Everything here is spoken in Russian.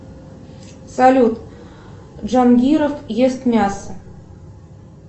салют джангиров ест мясо